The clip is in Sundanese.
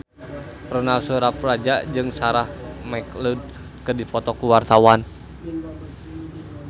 Ronal Surapradja jeung Sarah McLeod keur dipoto ku wartawan